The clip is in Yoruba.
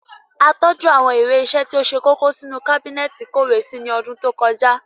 A tọ́jú àwọn ìwé ìṣe tó ṣe kókó sínú kábínẹ́ẹ̀tì ìkówèé sí ní ọdún tó kọjá